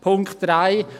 Punkt 3